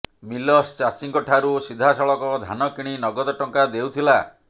millers ଚାଷୀଙ୍କ ଠାରୁ ସିଧାସଳଖ ଧାନ କିଣି ନଗଦ ଟଙ୍କା ଦେଉଥିଲା